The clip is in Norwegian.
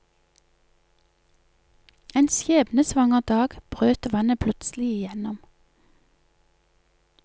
En skjebnesvanger dag brøt vannet plutselig gjennom.